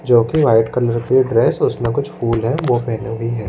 जो कि white colour के ड्रेस उसमें कुछ फूल है वो पेहने हुई हैं।